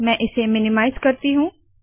मैं इसे मिनीमाइज़ करती हूँ